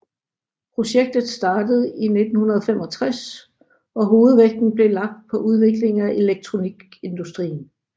Projektet startede i 1965 og hovedvægten blev lagt på udvikling af elektronikindustrien